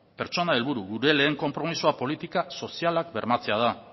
pertsona helburu gure lehen konpromezua politika sozialak bermatzea da